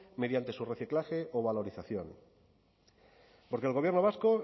mediante su reciclaje o valorización porque el gobierno vasco